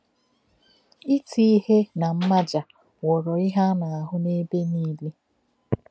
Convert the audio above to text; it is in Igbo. Ítì íhè na mmájá ghọrọ ihe a na-ahụ́ n’ebe nile.